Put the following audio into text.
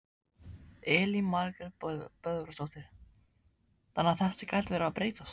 Elín Margrét Böðvarsdóttir: Þannig að þetta gæti verið að breytast?